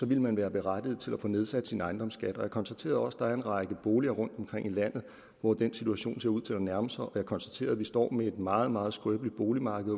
ville man være berettiget til at få nedsat sin ejendomsskat jeg konstaterede også at der er en række boliger rundtomkring i landet hvor den situation ser ud til at nærme sig og jeg konstaterede at vi står med et meget meget skrøbeligt boligmarked